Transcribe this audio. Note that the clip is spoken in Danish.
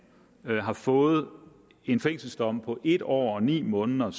har fået en fængselsstraf på en år og ni måneder